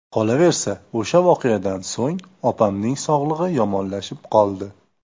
Qolaversa, o‘sha voqeadan so‘ng opamning sog‘lig‘i yomonlashib qoldi.